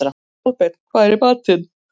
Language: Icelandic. Kolbeinn, hvað er í matinn?